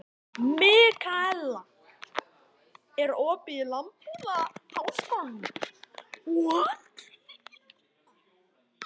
Mikaela, er opið í Landbúnaðarháskólanum?